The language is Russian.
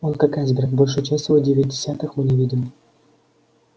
он как айсберг большую часть его девять десятых мы не видим